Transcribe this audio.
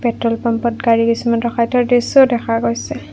Petrol পাম্পত গাড়ী কিছুমান ৰখাই থোৱাৰ দৃশ্যও দেখা গৈছে।